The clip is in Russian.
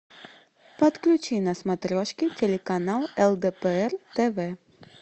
подключи на смотрешке телеканал лдпр тв